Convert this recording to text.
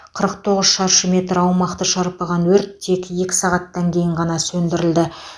қырық тоғыз шаршы метр аумақты шарпыған өрт тек екі сағаттан кейін ғана сөндірілді